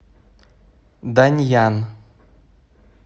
даньян